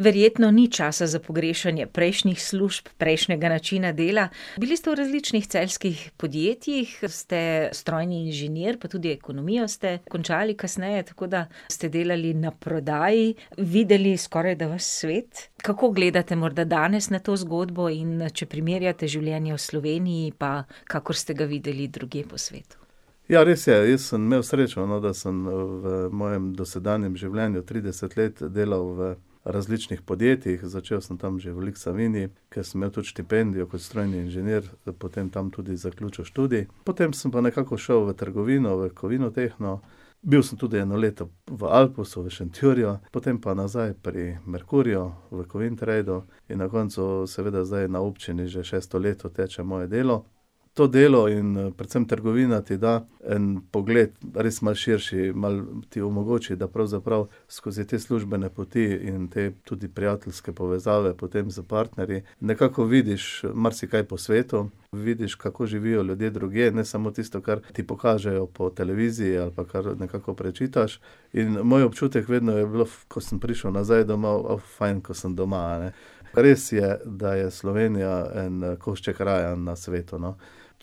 Verjetno ni časa za pogrešanje prejšnjih služb, prejšnjega načina dela. Bili ste v različnih celjskih podjetjih, ste strojni inženir, pa tudi ekonomijo ste končali kasneje, tako da ste delali na prodaji, videli skorajda ves svet. Kako gledate morda danes na to zgodbo, in, če primerjate življenje v Sloveniji pa kakor ste ga videli drugje po svetu? Ja, res je, jaz sem imel srečo, no, da sem, v mojem dosedanjem življenju trideset let delal v različnih podjetjih, začel sem tam že v Lik Savinji, kjer sem imel tudi štipendijo kot strojni inženir, potem tam tudi zaključil študij, potem sem pa nekako šel v trgovino, v Kovinotehno, bil sem tudi eno leto v Alposu, v Šentjurju, potem, pa nazaj pri Merkurju, v Kovintradu, in na koncu seveda zdaj na občini že šesto leto teče moje delo. To delo in predvsem trgovina ti da en pogled, res malo širši, malo ti omogoči, da pravzaprav skozi te službene poti in potem tudi prijateljske povezave potem s partnerji nekako vidiš marsikaj po svetu, vidiš, kako živijo ljudje drugje, ne samo tisto, kar ti pokažejo po televiziji ali pa kar nekako prečitaš. In moj občutek vedno je bil, ko sem prišel nazaj domov, fajn, ke sem doma, a ne. Res je, da je Slovenija en košček raja na svetu, no.